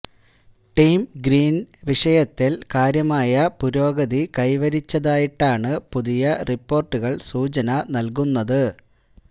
team green വിഷയത്തില് കാര്യമായ പുരോഗതി കൈവരിച്ചതായിട്ടാണ് പുതിയ റിപ്പോര്ട്ടുകള് സൂചന നല്കുന്നത്